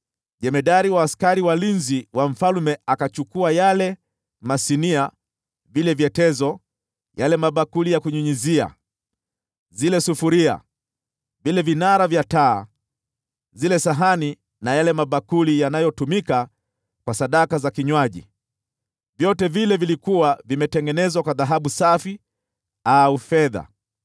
Jemadari wa askari walinzi wa mfalme akachukua yale masinia, vile vyetezo, yale mabakuli ya kunyunyizia, zile sufuria, vile vinara vya taa, zile sahani na yale mabakuli yaliyotumika kwa sadaka za vinywaji, vitu vyote vile vilivyokuwa vimetengenezwa kwa dhahabu safi au fedha.